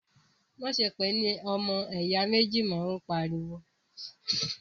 má ṣe pè é ní “ ọmọ ẹ̀yà méjì ” mọ̀! ó pariwo.